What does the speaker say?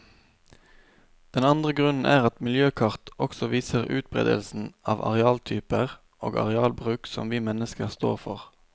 Den andre grunnen er at miljøkart også viser utberedelsen av arealtyper og arealbruk som vi mennesker står for.